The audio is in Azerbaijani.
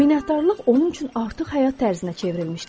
Minnətdarlıq onun üçün artıq həyat tərzinə çevrilmişdi.